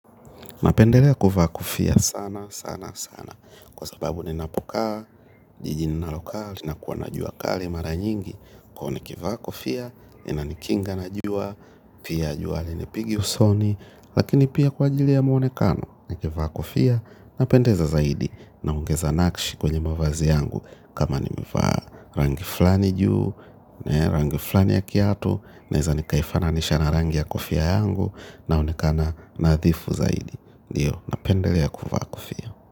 Napendelea kuvaa kofia sana, sana, sana. Kwa sababu ninapo kaa, jijini ninalo kaa, lina kuwa na jua kali mara nyingi. Kwani nikivaa kofia, inanikinga na jua, pia jua linipigi usoni, lakini pia kwa ajili ya muonekano. Nanikivaa kofia napendeza zaidi na ongeza nakshi kwenye mavazi yangu. Kama nimevaa rangi flani juu, rangi flani ya kiatu naeza nikaifananisha na rangi ya kofia yangu naonekana nadhifu zaidi. Ndiyo, napendelea kuvaa kofia.